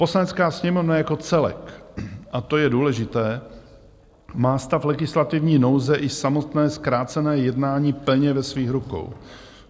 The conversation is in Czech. Poslanecká sněmovna jako celek, a to je důležité, má stav legislativní nouze i samotné zkrácené jednání plně ve svých rukou.